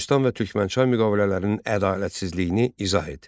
Gülüstan və Türkmənçay müqavilələrinin ədalətsizliyini izah et.